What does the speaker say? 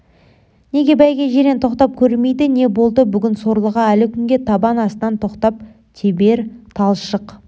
неге бәйге жирен тоқтап көрмейді не болды бүгін сорлыға әлі күнге табан астынан тоқтап тебер талшық